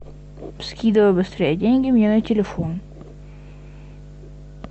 скидывай быстрей деньги мне на телефон